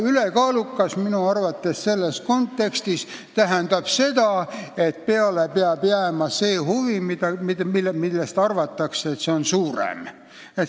"Ülekaalukas" tähendab minu arvates selles kontekstis seda, et peale peab jääma huvi, mille puhul arvatakse, et see on suurem.